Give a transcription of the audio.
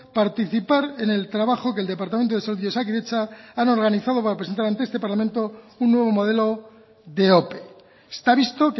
participar en el trabajo que el departamento de salud y osakidetza han organizado para presentar ante parlamento un nuevo modelo de ope está visto